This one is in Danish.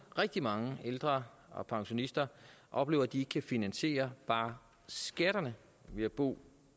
rigtig mange ældre og pensionister oplever at de ikke kan finansiere bare skatterne ved at bo